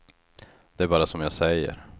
Det är bara som jag säger.